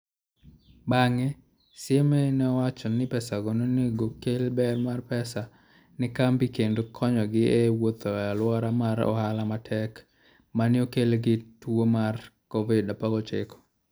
Bang'e, CMA ne owacho ni pesago ne onego okel ber mar pesa ne kambi kendo konyogi e wuotho e alwora mar ohala matek ma ne okel gi tuo mar Covid-19.